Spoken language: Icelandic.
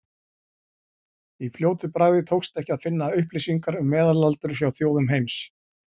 Í fljótu bragði tókst ekki að finna upplýsingar um meðalaldur hjá þjóðum heims.